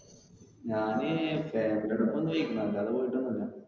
ഞാന് ഈ അല്ലാതെ പോയിട്ടൊന്നില്ല.